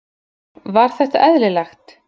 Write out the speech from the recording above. Var þetta eðlilegt?